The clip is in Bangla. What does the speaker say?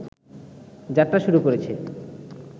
যাত্রা শুরু করেছে